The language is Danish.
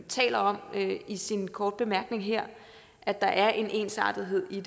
taler om i sin korte bemærkning her at der er en ensartethed i